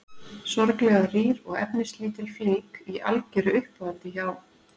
Sorglega rýr og efnislítil flík í algeru uppáhaldi hjá